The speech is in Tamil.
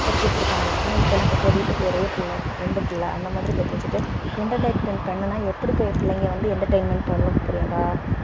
பெத்து வச்சிருப்பாங்க ஆனா இப்போ எல்லாம் பாத்தியா வீட்டுக்கு ஒரே பிள்ளை ரெண்டு பிள்ளை அந்த மாதிரி பெத்து வச்சுட்டு entertainment பண்ணுனா எப்படி போய் பிள்ளைங்க வந்து entertainment பண்ணணும் பிரியங்கா